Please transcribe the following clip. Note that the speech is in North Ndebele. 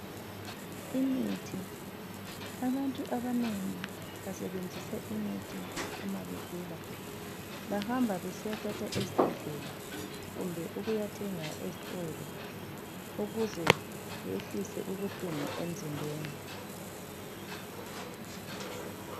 Imithi , abantu abanengi basebenzisa imithi uma begula bahamba besiyathatha ezibhedlela kumbe ukuyathenga ezitolo. Ukuze behlise ubuhlungu emzimbeni.